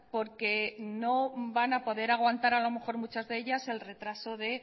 porque no van a poder aguantar a lo mejor muchas de ellas el retraso de